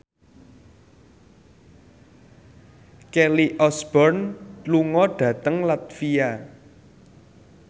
Kelly Osbourne lunga dhateng latvia